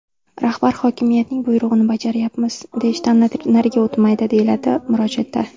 Rahbar hokimiyatning buyrug‘ini bajaryapmiz, deyishdan nariga o‘tmaydi, deyiladi murojaatda.